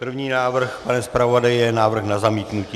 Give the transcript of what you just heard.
První návrh, pane zpravodaji, je návrh na zamítnutí.